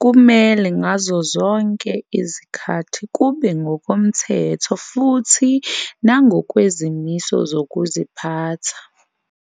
kumele ngazo zonke izikhathi kube ngokomthetho futhi nangokwezimiso zokuziphatha.